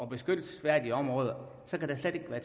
beskyttelsesværdige områder kan der slet ikke være